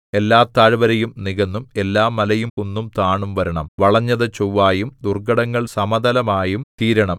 എല്ലാ താഴ്വരയും നികന്നും എല്ലാ മലയും കുന്നും താണും വരണം വളഞ്ഞതു ചൊവ്വായും ദുർഘടങ്ങൾ സമതലമായും തീരണം